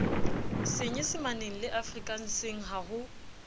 senyesemaneng le afrikanseng ha ho